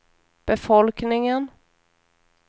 befolkningen